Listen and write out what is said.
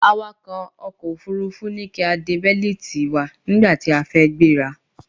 Awàkọ̀ ọkò òfurufú ní kí a de bẹ́lítì wa nígbàtí a fẹ́ gbéra.